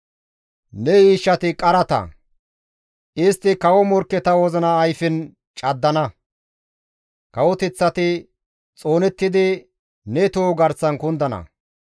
Ne yiishshati qarata; istti kawo morkketa wozina ayfen caddana; kawoteththati xoonettidi ne toho garsan kundana.